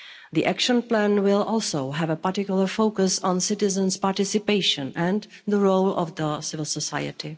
The Action Plan will also have a particular focus on citizens' participation and the role of civil society.